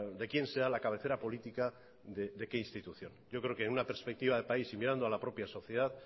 de quién sea la cabecera política de qué institución yo creo que en una perspectiva de país y mirando a la propia sociedad